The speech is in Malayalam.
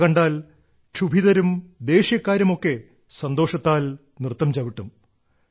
അവ കണ്ടാൽ ക്ഷുഭിതരും ദേഷ്യക്കാരും ഒക്കെ സന്തോഷത്താൽ നൃത്തം ചവിട്ടും